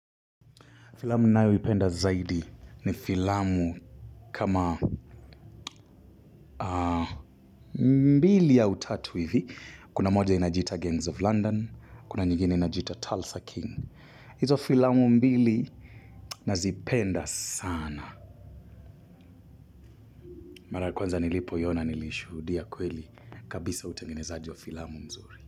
Filamu nayoipenda zaidi ni filamu kama mbili au tatu hivi. Kuna moja inajiita Gangs of London, kuna nyingini inajita Tulsa King. Izo filamu mbili nazipenda sana. Mara ya kwanza nilipohiona nilishu. Rudia kweli kabisa utengenezaji wa filamu mzuri.